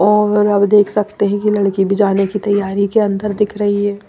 और अब देख सकते हैं कि लड़की भी जाने की तैयारी के अंदर दिख रही है।